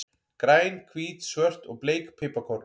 Græn, hvít, svört og bleik piparkorn.